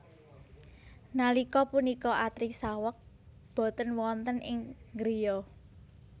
Nalika punika Atri saweg boten wonten ing griya